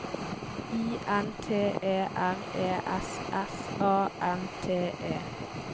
I N T E R E S S A N T E